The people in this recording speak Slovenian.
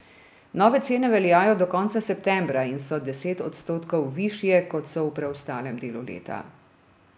Nove cene veljajo do konca septembra in so deset odstotkov višje, kot so v preostalem delu leta.